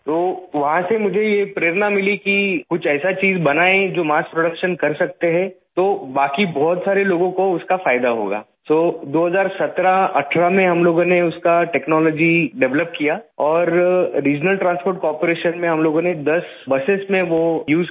तो वहाँ से मुझे ये प्रेरणा मिली कि कुछ ऐसा चीज बनाए जो मार्स प्रोडक्शन कर सकते हैं तो बाकी बहुत सारे लोगों को उसका फायदा होगा तो 201718 में हम लोगों ने उसका टेक्नोलॉजी डेवलप किया और रिजनल ट्रांसपोर्ट कार्पोरेशन में हम लोगों ने 10 बसों में वो उसे किया